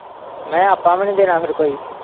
ਮੈਂ ਕਿਹਾ ਆਪਾਂ ਵੀ ਨੀ ਦੇਣਾ ਫੇਰ ਕੋਈ।